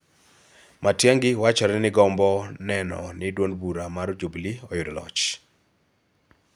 Matiang'i wachore ni gombo mar neno ni duond bura mar Jubili oyudo loch